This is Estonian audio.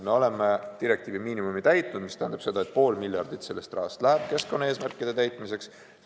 Me oleme direktiivi miinimumi täitnud, mis tähendab seda, et pool miljardit sellest rahast läheb keskkonnaeesmärkide täitmiseks.